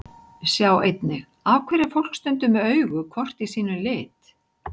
Sjá einnig: Af hverju er fólk stundum með augu hvort í sínum lit?